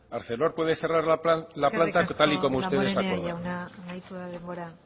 arcelor puede cerrar la planta tal y como ustedes acordaron eskerrik asko damborenea jauna amaitu da denbora